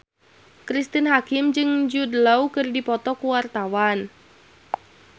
Cristine Hakim jeung Jude Law keur dipoto ku wartawan